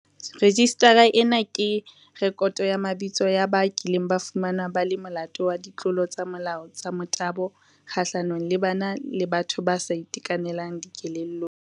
Rejistara ena ke rekoto ya mabitso ya ba kileng ba fumanwa ba le molato wa ditlolo tsa molao tsa motabo kgahlanong le bana le batho ba sa itekanelang dikelellong.